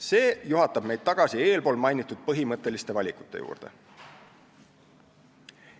See juhatab meid tagasi eespool mainitud põhimõtteliste valikute juurde.